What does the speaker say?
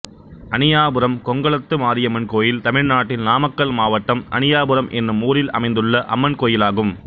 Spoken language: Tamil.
அணியாபுரம் கொங்களத்து மாரியம்மன் கோயில் தமிழ்நாட்டில் நாமக்கல் மாவட்டம் அணியாபுரம் என்னும் ஊரில் அமைந்துள்ள அம்மன் கோயிலாகும்